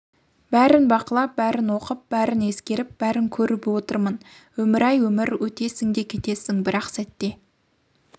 бәрін бақылап бәрін оқып бәрін ескеріп бәрін көріп отырмын өмір-ай өмір өтесің де кетесің бір-ақ сәтте